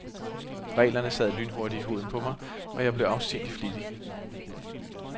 Reglerne sad lynhurtigt i huden på mig, og jeg blev afsindigt flittig.